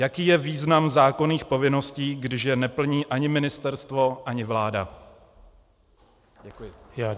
Jaký je význam zákonných povinností, když je neplní ani ministerstvo, ani vláda?